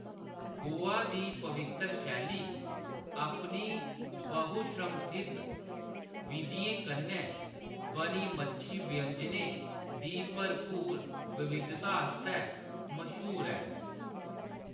गोवा दी पवित्तर शैली अपनी बहुश्रमसिद्ध विधियें कन्नै बनी मच्छी व्यंजनें दी भरपूर विविधता आस्तै मश्हूर ऐ